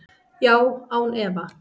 Já, án efa.